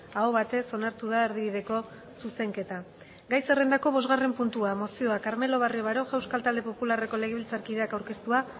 aho batez onartu da erdibideko zuzenketa gai zerrendako bosgarren puntua mozioa carmelo barrio baroja euskal talde popularreko legebiltzarkideak aurkeztua